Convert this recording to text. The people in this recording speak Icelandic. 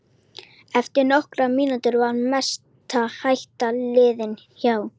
Eftir nokkrar mínútur var mesta hætta liðin hjá.